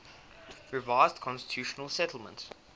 revised constitutional settlement